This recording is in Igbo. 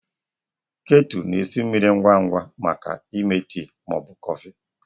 Ketu na-esi mmiri ngwa ngwa maka ịme tii ma ọ bụ kọfị.